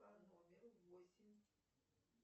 по номеру восемь